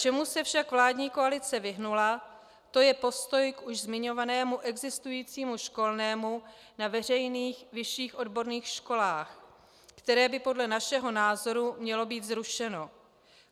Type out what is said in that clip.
Čemu se však vládní koalice vyhnula, to je postoj už k zmiňovanému existujícímu školnému na veřejných vyšších odborných školách, které by podle našeho názoru mělo být zrušeno.